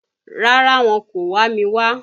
Rárá, wọn kò wá mi wá.